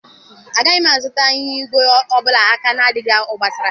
Agaghị m azụta ịnyịnya ígwè ọ bụla aka na-adịghị obosara.